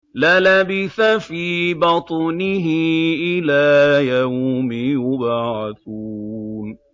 لَلَبِثَ فِي بَطْنِهِ إِلَىٰ يَوْمِ يُبْعَثُونَ